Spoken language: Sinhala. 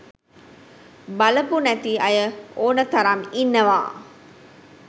බලපු නැති අය ඕන තරම් ඉන්නවා.